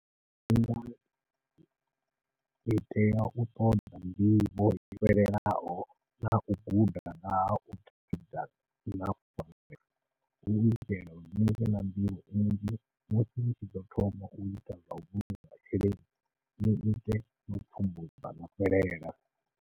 I tea u ṱoḓa nḓivho yo fhelelaho nau guda nga hau hu itela uri nivhe na nḓivho nnzhi musi ni tshi ḓo thoma uita zwau vhulunga masheleni ni zwi ite no pfhumbudza na fhelela.